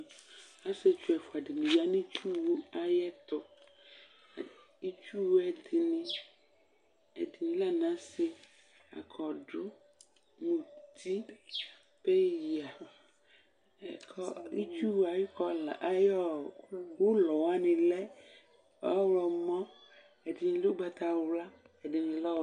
asietsʋ ɛƒʋadi yanʋ itsʋ ayɛtʋ itsʋwʋɛ dini lɛ anase akɔdʋ mʋti peya kʋɔ itsʋwɛ ayʋɔ kɔla ayʋlɔ wanilɛ ɔwlɔmɔ ɛdini lɛ ʋgbata wla ɛdinilɛ ɔv